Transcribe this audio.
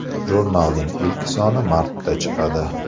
Jurnalning ilk soni martda chiqadi.